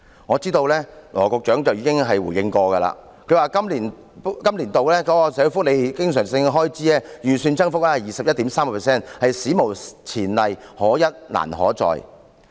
我知道羅局長已經回應過，他曾指出本年度社會福利經常性開支預算增幅達 21.3%， 是史無前例，可一難可再。